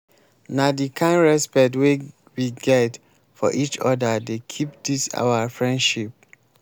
na di kind respect wey we get for eachoda dey keep dis our friendship